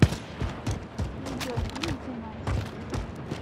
видеофильм двенадцать